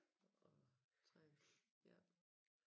Og træne ja